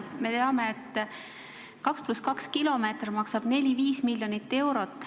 Me teame, et 2 + 2 teelõigu puhul maksab kilomeeter 4–5 miljonit eurot.